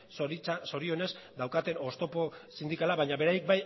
zorionez daukaten oztopo sindikala baina beraiek